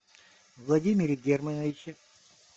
владимире германовиче